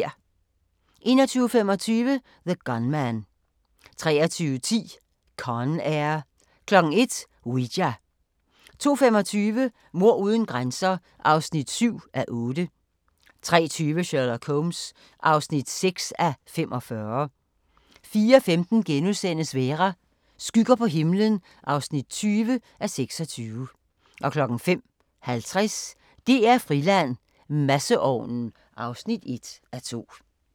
21:25: The Gunman 23:10: Con Air 01:00: Ouija 02:25: Mord uden grænser (7:8) 03:20: Sherlock Holmes (6:45) 04:15: Vera: Skygger på himlen (20:26)* 05:50: DR-Friland: Masseovnen (1:2)